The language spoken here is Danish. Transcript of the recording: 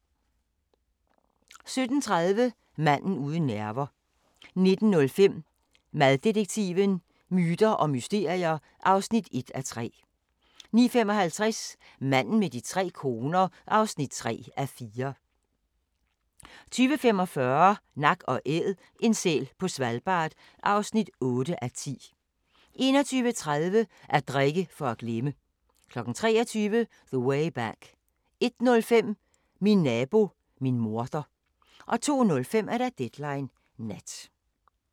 17:30: Manden uden nerver 19:05: Maddetektiven: Myter og mysterier (1:3) 19:55: Manden med de tre koner (3:4) 20:45: Nak & Æd – en sæl på Svalbard (8:10) 21:30: At drikke for at glemme 23:00: The Way Back 01:05: Min nabo, min morder 02:05: Deadline Nat